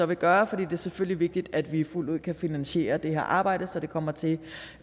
vil gøre for det er selvfølgelig vigtigt at vi fuldt ud kan finansiere det her arbejde så det kommer til